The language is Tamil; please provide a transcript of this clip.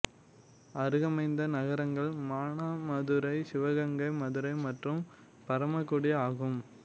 அருகமைந்த நகரங்கள் மானாமதுரை சிவகங்கை மதுரை மற்றும் பரமக்குடி ஆகும்